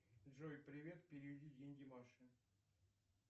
джой привет переведи деньги маше